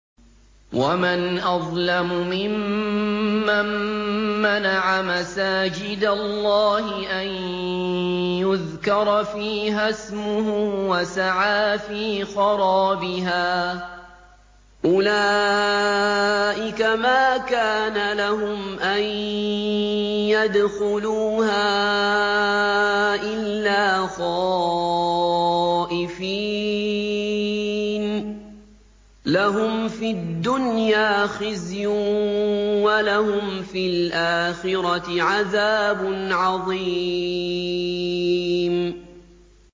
وَمَنْ أَظْلَمُ مِمَّن مَّنَعَ مَسَاجِدَ اللَّهِ أَن يُذْكَرَ فِيهَا اسْمُهُ وَسَعَىٰ فِي خَرَابِهَا ۚ أُولَٰئِكَ مَا كَانَ لَهُمْ أَن يَدْخُلُوهَا إِلَّا خَائِفِينَ ۚ لَهُمْ فِي الدُّنْيَا خِزْيٌ وَلَهُمْ فِي الْآخِرَةِ عَذَابٌ عَظِيمٌ